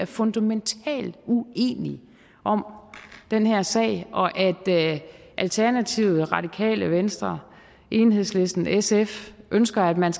fundamentalt uenige om den her sag og at alternativet radikale venstre enhedslisten og sf ønsker at man